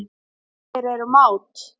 Þeir eru mát.